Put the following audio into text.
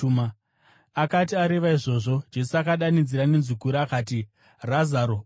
Akati areva izvozvo, Jesu akadanidzira nenzwi guru akati, “Razaro, buda!”